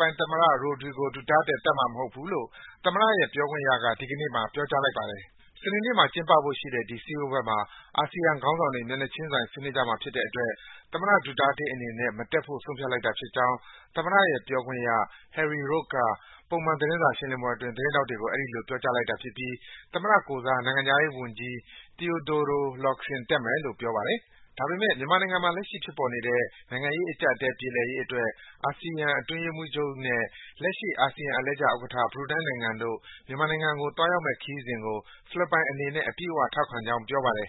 ပိုင်သမ္မတ Rodrigo Duterte ကတော့ အာဆီယံအစည်းအဝေး တက်မှာမဟုတ်ဘူးလို့ သမ္မတရဲ့ပြောခွင့်ရက ဒီကနေ့ ပြောပါတယ်။ စနေနေ့မှာ ကျင်းပဖို့စီစဉ်ထားတဲ့ ဒီစည်းဝေးပွဲမှာ အာဆီယံခေါင်းဆောင်တွေ မျက်နှာချင်းဆိုင် ဆွေးနွေးကြမှာဖြစ်တဲ့အတွက် သမ္မတ Duterte အနေနဲ့ မတက်ဖို့ ဆုံးဖြတ်လိုက်တာဖြစ်ကြောင်း သမ္မတရဲ့ ပြောခွင့်ရ Harry Rogue က ပုံမှန် သတင်းစာရှင်းလင်းပွဲအတွင်း သတင်းထောက်တွေကို အဲဒီလို ပြောကြားလိုက်တာဖြစ်ပြီး သမ္မတကိုယ်စား နိုင်ငံခြားရေးဝန်ကြီး Teodoro Locsin တက်မယ်လို့ ပြောပါတယ်။ ဒါပေမယ့် မြန်မာနိုင်ငံမှာ လက်ရှိဖြစ်ပေါ်နေတဲ့ နိုင်ငံရေးအကျပ်အတည်း ပြေလည်ရေးအတွက် အာဆီယံအတွင်းရေးမှူးချုပ်နဲ့ လက်ရှိ အာဆီယံအလှည့်ကျဥက္ကဋ္ဌ ဘရူနိုင်းနိုင်ငံတို့ မြန်မာနိုင်ငံကို သွားရောက်မယ့်ခရီးစဉ်ကို ဖိလစ်ပိုင်နိုင်ငံအနေနဲ့ အပြည့်အ၀ ထောက်ခံကြောင်း ပြောပါတယ်